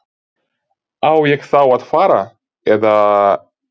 Á ég þá að fara. eða?